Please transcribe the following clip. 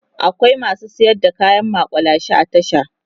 akwai masu sayar da kayan maƙulashe a tasha